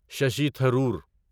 Shashi Tharoor